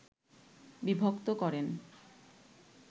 বিভক্ত করেন